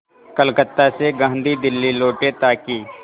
कलकत्ता से गांधी दिल्ली लौटे ताकि